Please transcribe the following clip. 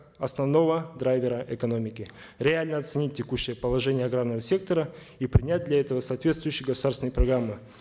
основного драйвера экономики реально оценить текущее положение аграрного сектора и принять для этого соответствующие государственные программы